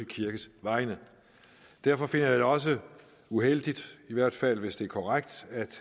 kirkes vegne derfor finder jeg det også uheldigt i hvert fald hvis det er korrekt